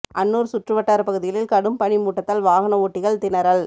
அன்னூர் சுற்று வட்டார பகுதிகளில் கடும் பனிமூட்டத்தால் வாகன ஓட்டிகள் திணறல்